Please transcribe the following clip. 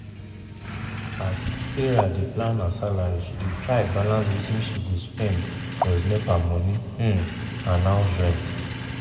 as sarah dey plan her salary she dey try balance wetin she go spend plus nepa money um and house rent.